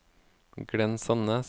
Glenn Sandnes